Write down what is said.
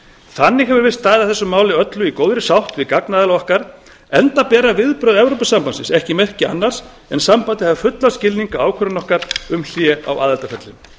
þannig hefur verið staðið að þessu máli öllu í góðri sátt við gagnaðila okkar enda bera viðbrögð evrópusambandsins ekki merki annars en að sambandið hafi fullan skilning á ákvörðun okkar um hlé á aðildarferlinu